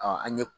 an ɲe